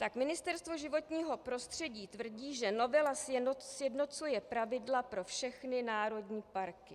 Tak Ministerstvo životního prostředí tvrdí, že novela sjednocuje pravidla pro všechny národní parky.